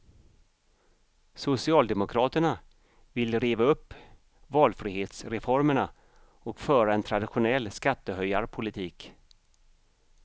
Socialdemokraterna vill riva upp valfrihetsreformerna och föra en traditionell skattehöjarpolitik.